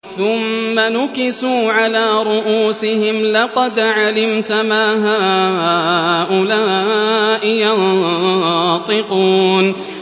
ثُمَّ نُكِسُوا عَلَىٰ رُءُوسِهِمْ لَقَدْ عَلِمْتَ مَا هَٰؤُلَاءِ يَنطِقُونَ